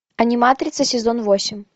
аниматрица сезон восемь